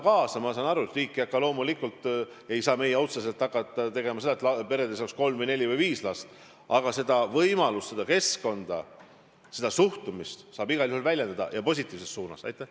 Ma saan aru, et riik ei saa otseselt midagi teha, et peredes oleks kolm või neli või viis last, aga seda keskkonda, seda suhtumist saab igal juhul positiivses suunas arendada.